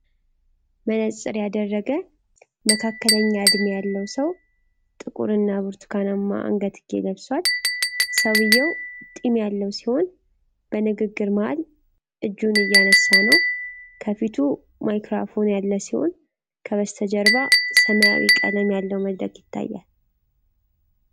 መነጽር ያደረገ መካከለኛ እድሜ ያለው ሰው ጥቁር ሱፍ እና ብርቱካናማ አንገትጌ ለብሷል። ሰውየው ጢም ያለው ሲሆን በንግግር መሃል እጁን እያነሳ ነው። ከፊቱ ማይክራፎን ያለ ሲሆን ከበስተጀርባ ሰማያዊ ቀለም ያለው መድረክ ይታያል።